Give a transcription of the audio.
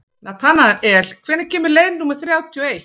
Natanael, hvenær kemur leið númer þrjátíu og eitt?